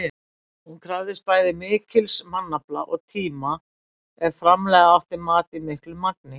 Hún krafðist bæði mikils mannafla og tíma ef framleiða átti mat í miklu magni.